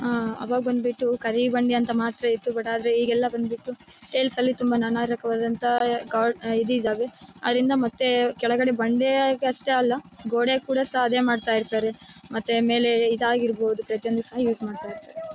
ಆಹ್ಹ್ ಅವಾಗ ಬಂದ್ಬಿಟ್ಟು ಕರಿಬಂಡೆ ಅಂತ ಮಾತ್ರ ಇತ್ತು ಆದ್ರೆ ಈಗೆಲ್ಲ ಬಂದ್ಬಿಟ್ಟ್ಟು ಸೇಲ್ಸ್ ಅಲ್ಲಿ ತುಂಬ ನಾನಾತರ ವಾದ ಇದ್ ಇದ್ದವೇ ಅದರಿಂದ ಮತ್ತೆ ಕೆಳಗಡೆ ಬಂಡೆ ಅಷ್ಟೇ ಅಲ್ಲ ಗೊಡ್ಡೆಗೂ ಸಹ ಅದೇ ಮಾಡ್ತಾ ಇರ್ತಾರೆ ಮತ್ತೆ ಮೇಲೆ ಇದಾಗಿರಬಹುದು ಪ್ರತಿಯೊಂದು ಸಹ ಯೂಸ್ ಮಾಡ್ತಾ ಇರ್ತಾರೆ.